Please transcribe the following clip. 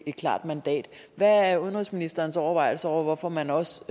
et klart mandat hvad er udenrigsministerens overvejelser over hvorfor man også